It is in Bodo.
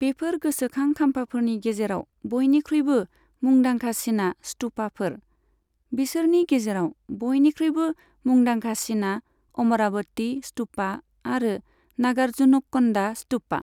बेफोर गोसोखां खाम्फाफोरनि गेजेराव बयनिख्रुयबो मुंदांखासिना स्तूपाफोर, बिसोरनि गेजेराव बयनिख्रुयबो मुंदांखासिना अमरावती स्तूपा आरो नागार्जुनक'न्डा स्तूपा।